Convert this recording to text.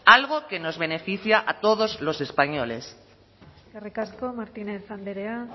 algo que nos beneficia a todos los españoles eskerrik asko martínez andrea